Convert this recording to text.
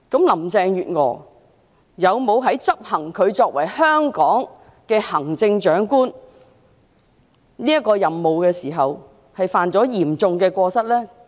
林鄭月娥在執行作為香港行政長官這個任務時，有否犯下嚴重過失呢？